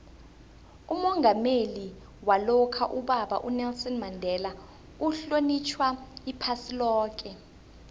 umongameli walokha ubaba unelson mandela uhlonitjhwa iphasi loke